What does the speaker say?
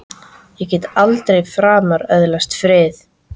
Ég get aldrei framar öðlast frið!